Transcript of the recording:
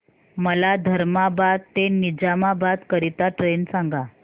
मला धर्माबाद ते निजामाबाद करीता ट्रेन सांगा